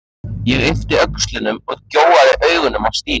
Ég yppti öxlum og gjóaði augunum á Stínu.